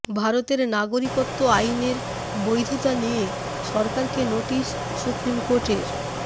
ভারতের নাগরিকত্ব আইনের বৈধতা নিয়ে সরকারকে নোটিশ সুপ্রিম কোর্টের